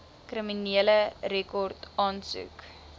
kriminele rekord aansoek